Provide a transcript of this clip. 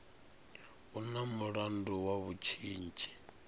u na mulandu wa vhutshinyi